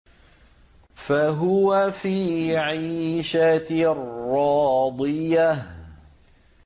فَهُوَ فِي عِيشَةٍ رَّاضِيَةٍ